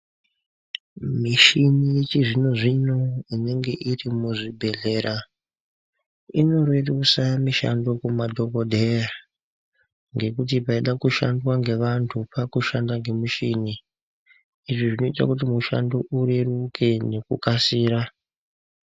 Muchini yechizvino-zvino inenge iri muzvibhedhlera ,inorerusa mishando kumadhokodheya, ngekuti paida kushandwa ngeanhu paakushanda ngemushini. Izvi zvinoite kuti mushando ureruke ngekukasira.